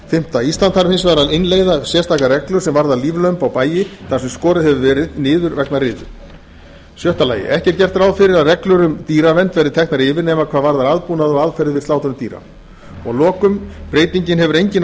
fimmta ísland þarf hins vegar að innleiða sérstaka reglu sem varðar líflömb á bæi þar sem skorið hefur verið niður vegna riðu sjötta ekki er gert ráð fyrir að reglur um dýravernd verði teknar yfir nema hvað varðar aðbúnað og aðferðir við slátrun dýra sjöunda breytingin hefur engin